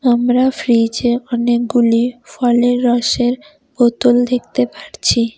আমরা ফ্রিজে অনেকগুলি ফলের রসের বোতল দেখতে পারছি।